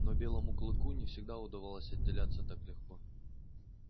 но белому клыку не всегда удавалось отделяться так легко